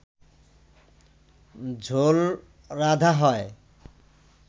ঝোল রাঁধা হয়